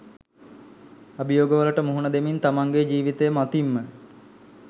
අභියෝගවලට මුහුණ දෙමින් තමන්ගේ ජීවිතය මතින්ම